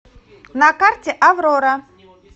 на карте аврора